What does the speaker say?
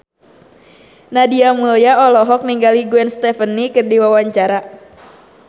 Nadia Mulya olohok ningali Gwen Stefani keur diwawancara